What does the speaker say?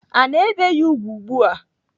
Ana ebe ya ùgwù ugbu a.